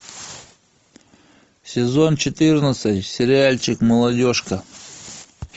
сезон четырнадцать сериальчик молодежка